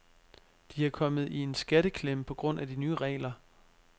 De er kommet i en skatteklemme på grund af de nye regler.